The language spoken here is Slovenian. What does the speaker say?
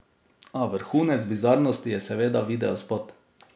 A vrhunec bizarnosti je seveda videospot.